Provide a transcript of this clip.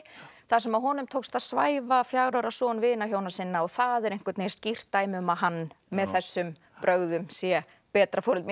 þar sem honum tókst að svæfa fjögurra ára son vinahjóna sinna og það er einhvern veginn skýrt dæmi um að hann með þessum brögðum sé betra foreldri